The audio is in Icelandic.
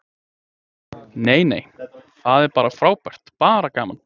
Nei nei, það er bara frábært, bara gaman.